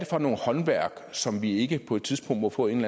for håndværk som vi ikke på et tidspunkt må få en